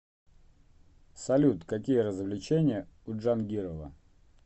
салют какие развлечения у джангирова